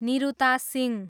Niruta Singh